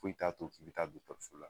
Foyi t'a to k'i bɛ taa dɔtɔrsola.